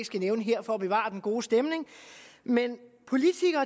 skal nævne her for at bevare den gode stemning men politikere